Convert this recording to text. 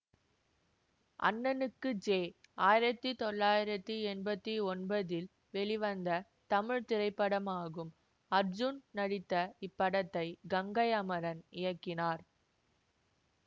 அண்ணனுக்கு ஜே ஆயிரத்தி தொள்ளாயிரத்தி எம்பத்தி ஒன்பதில் வெளிவந்த தமிழ் திரைப்படமாகும் அர்ஜூன் நடித்த இப்படத்தை கங்கை அமரன் இயக்கினார்